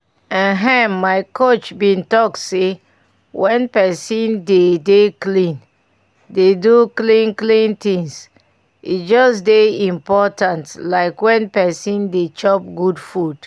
ehn my coach bin talk say when pesin dey dey clean dey do clean clean things e just dey important like when pesin dey chop good food